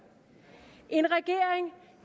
en regering